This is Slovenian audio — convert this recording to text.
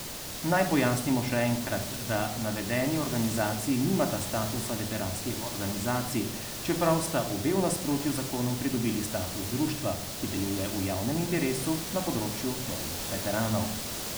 Naj pojasnimo še enkrat, da navedeni organizaciji nimata statusa veteranskih organizacij, čeprav sta obe v nasprotju z zakonom pridobili status društva, ki deluje v javnem interesu na področju vojnih veteranov.